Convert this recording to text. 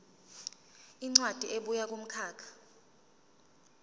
incwadi ebuya kumkhakha